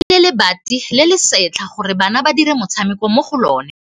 Ba rekile lebati le le setlha gore bana ba dire motshameko mo go lona.